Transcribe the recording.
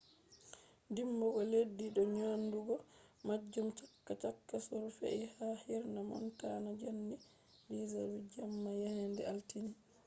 dimbugo leddi je nyadugo majum chaka chaka on fe’i ha hirna montana jamdi 10:08 jemma yende altine